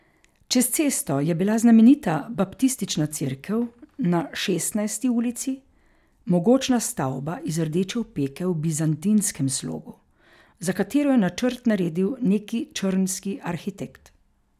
Čez cesto je bila znamenita baptistična cerkev na Šestnajsti ulici, mogočna stavba iz rdeče opeke v bizantinskem slogu, za katero je načrt naredil neki črnski arhitekt.